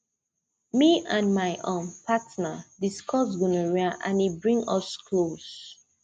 me and my um partner discuss gonorrhea and e bring us close